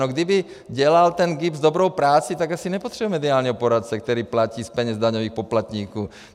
No kdyby dělal ten GIBS dobrou práci, tak asi nepotřebuje mediálního poradce, kterého platí z peněz daňových poplatníků.